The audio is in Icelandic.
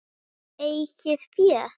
Eigið fé